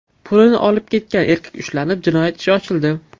Pulni olib ketgan erkak ushlanib, jinoyat ishi ochildi.